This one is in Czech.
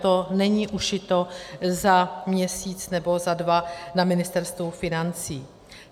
To není ušito za měsíc nebo za dva na Ministerstvu financí.